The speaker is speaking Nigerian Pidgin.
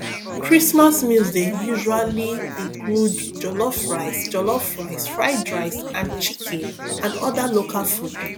christmas meals dey usally include jollof rice jollof rice fried rice and chicken and oda local food